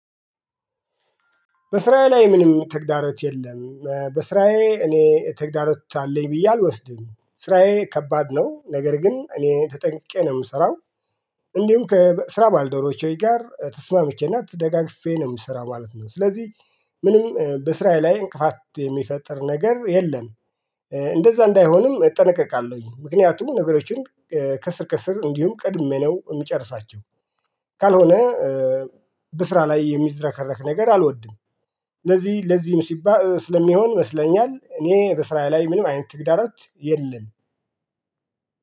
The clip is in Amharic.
በስራዬ ላይ ምንም ተግዳሮት የለም በስራዬ እኔ ተግዳሮት አለኝ ብዬ አልወስድም ስራዬ ከባድ ነው ነገር ግን እኔ ተጠንቅቄ ነው የምሰራው። እንዲሁም ከስራ ባልደረቦች ጋር ተስማምቼና ተደጋግፌ ነው የምሰራ ማለት ነው። ስለዚህ ምንም በስራየ ላይ እንቅፋት የሚፈጠር ነገር የለም። እንደዛ እንዳይሆንም እጠነቀቃለሁኝ ምክንያቱም ነገሮችን ከስር ከስር እንዲሁም ቀድሜ ነው የምጨርሳቸው። ካልሆነ በስራ ላይ የሚዝረከረክ ነገር አልወድም። ለዚህ ለዚህም ሲባል ስለሚሆን ይመስለኛል እኔ በስራየ ላይ ምንም አይነት ትግዳሮት የለም።